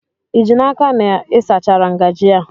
Ị ji n'aka na ị sachara ngajị a?